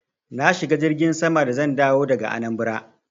Na shiga jirgin sama da zan dawo daga Anambra.